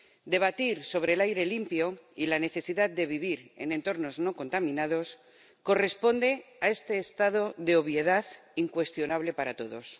Debatir sobre el aire limpio y la necesidad de vivir en entornos no contaminados corresponde a este estado de obviedad incuestionable para todos.